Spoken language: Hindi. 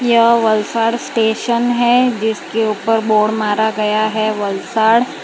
यह वलसड स्टेशन है जिसके ऊपर बोर्ड मारा गया है वलसाड --